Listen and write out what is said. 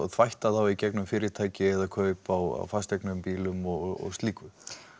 þvætta þá í gegnum fyrirtæki kaup á bílum og slíku